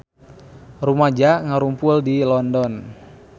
Rumaja ngarumpul di London